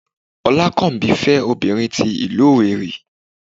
olakanbi fé obinrín tí ilu Owerri